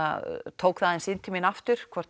tók það aðeins inn til mín aftur hvort